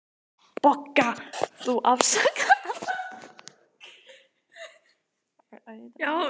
BOGGA: Þú afsakar.